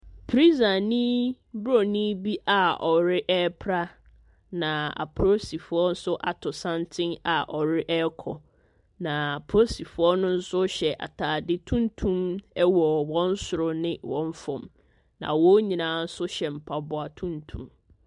Prisani Buronin bi a ɔre ɛpra. Na apoolisifoɔ nso ato santene a wɔrekɔ. Na apolisifoɔ no nso hyɛ atade tuntum wɔ wɔn soro ne wɔn fam, na wɔn nyinaa nsohyɛ mpaboa tuntum.